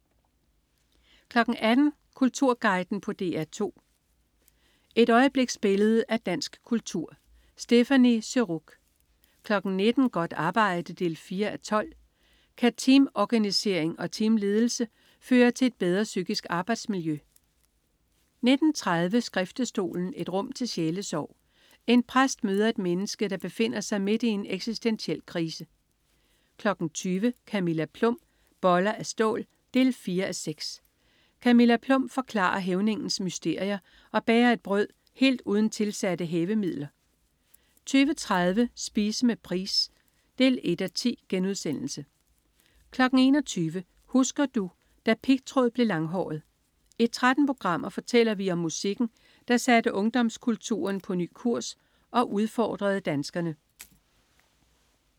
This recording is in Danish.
18.00 Kulturguiden på DR2. Et øjebliksbillede af dansk kultur. Stéphanie Surrugue 19.00 Godt arbejde 4:12. Kan teamorganisering og teamledelse føre til et bedre psykisk arbejdsmiljø? 19.30 Skriftestolen, et rum til sjælesorg. En præst møder et menneske, der befinder sig midt i en eksistentiel krise 20.00 Camilla Plum. Boller af stål 4:6. Camilla Plum forklarer hævningens mysterier og bager et brød helt uden tilsatte hævemidler 20.30 Spise med Price 1:10* 21.00 Husker du? Da pigtråd blev langhåret. I 13 programmer fortæller vi om musikken, der satte ungdomskulturen på ny kurs og udfordrede danskerne